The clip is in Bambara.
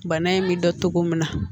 Bana in bɛ dɔn cogo min na